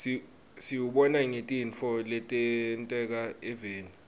siwubona ngetintfo letenteka eveni